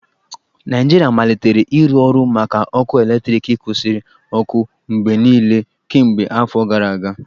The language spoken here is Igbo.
Naijiria malitere ịrụ ọrụ maka ọkụ eletriki kwusiri ọkụ mgbe niile kemgbe afọ gara aga